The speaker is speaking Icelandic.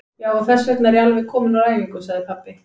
Já, og þessvegna er ég alveg kominn úr æfingu, sagði pabbi.